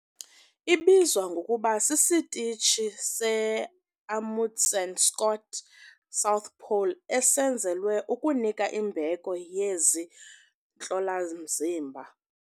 Ibizwa ngokuba sisitishi se-iAmundsen-Scott South Pole esenzelwe ukunika imbeko yezi ntlola zimbini.